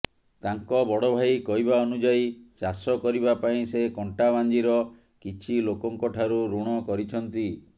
ତାଙ୍କ ବଡ ଭାଇ କହିବା ଅନୁଯାୟୀ ଚାଷ କରିବା ପାଇଁ ସେ କଣ୍ଟାବାଞ୍ଜିର କିଛି ଲୋକଙ୍କଠାରୁ ଋଣ କରିଛନ୍ତି